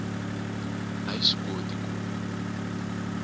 a yi swi koti ku